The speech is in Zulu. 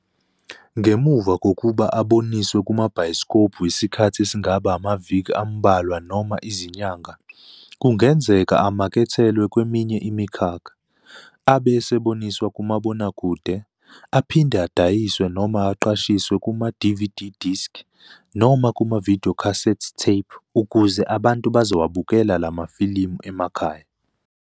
Ngemuva kokuba aboniswe kumabhayisikobhu isikhathi esingaba amaviki amubalwa noma izinyanga, kungenzeka amakethelwe kweminye imikhakha. Abe eseboniswa kumabonakude, aphinde adayiswe noma aqashiswe kuma"DVD disk" noma kuma"videocassette tape", ukuze abantu bezowabuka lamafilimu emakhaya.